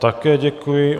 Také děkuji.